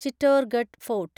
Chittorgarh fort